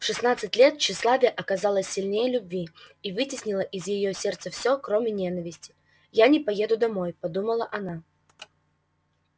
в шестнадцать лет тщеславие оказалось сильнее любви и вытеснило из её сердца все кроме ненависти я не поеду домой подумала она